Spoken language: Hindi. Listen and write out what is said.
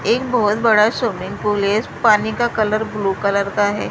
एक बहुत बड़ा स्विमिंग पूल है इस पानी का कलर ब्लू कलर का है।